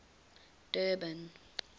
durban